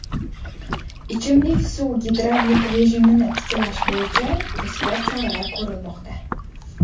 ichimlik suv gidravlik rejimini tiklash bo‘yicha tezkor choralar ko‘rilmoqda.